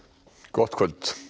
gott kvöld